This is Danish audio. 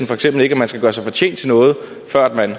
for eksempel ikke at man skal gøre sig fortjent til noget før man